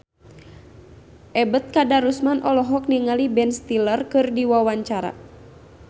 Ebet Kadarusman olohok ningali Ben Stiller keur diwawancara